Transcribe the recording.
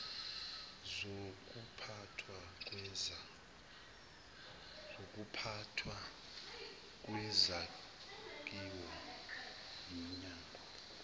zokuphathwa kwezakhiwo yiminyango